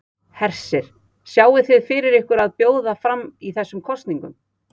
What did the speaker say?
Hersir: Sjáið þið fyrir ykkur að bjóða fram í þessum kosningum?